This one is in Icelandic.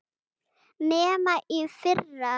Nema í fyrra.